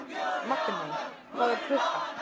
Magney, hvað er klukkan?